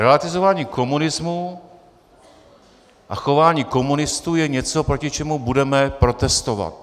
Relativizování komunismu a chování komunistů je něco, proti čemu budeme protestovat.